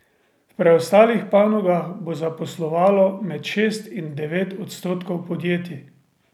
V preostalih panogah bo zaposlovalo med šest in devet odstotkov podjetij.